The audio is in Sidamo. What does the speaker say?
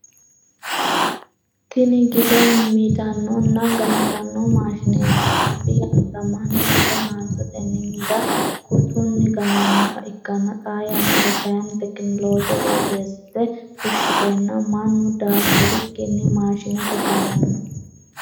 Tinni gide midanonna gantano maashineeti. Albi yannara mannu gide haantotenni mide kutunni ganannoha ikanna xaa yannara kayinni tekinolooje woyeesite fushiteenna Manu daafirikinni maashinete ga'nano.